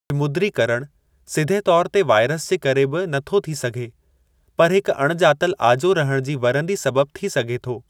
विमुद्रीकरणु सिधे तौर ते वायरस जे करे बि नथो थी सघे, पर हिक अण ॼातलु आजो रहण जी वरंदी सबबु थी सघे थो।